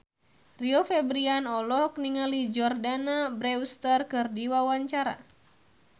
Rio Febrian olohok ningali Jordana Brewster keur diwawancara